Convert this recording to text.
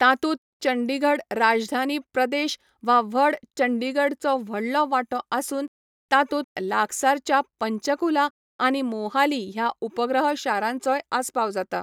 तातूंत चंडीगढ राजधानी प्रदेश वा व्हड चंडीगडचो व्हडलो वांटो आसून तातूंत लागसारच्या पंचकुला आनी मोहाली ह्या उपग्रह शारांचोय आस्पाव जाता.